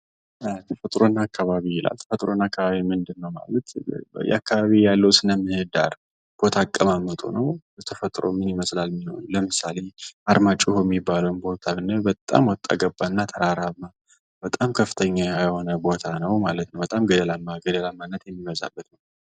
ተፈጥሮ እና አካባቢ ይላል ተፈጥሮ እና አካባቢ ምንድነው ማለት የአካባቢ ያለው ስነ ምህዳር ቦታ አቀማመጡ ነው። ተፈጥሮ ምን ይመስላል የሚለውን ለምሳሌ፦ አርማጭሆ የሚባለውን ቦታ ብናየው በጣም ወጣ ገባ እና ተራራማ በጣም ከፍተኛ የሆነ ቦታ ነው። በጣም ገደላማ ገደለማ የሚበዛበት